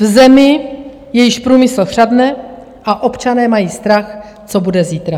V zemi, jejíž průmysl chřadne a občané mají strach, co bude zítra.